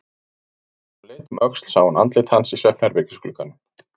Þegar hún leit um öxl sá hún andlit hans í svefnherbergisglugganum.